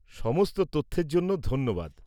-সমস্ত তথ্যের জন্য ধন্যবাদ।